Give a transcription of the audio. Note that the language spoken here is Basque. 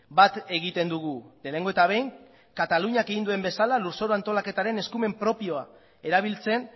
bat egiten dugu lehenengo eta behin kataluniak egin duen bezala lurzoru antolaketaren eskumen propioa erabiltzen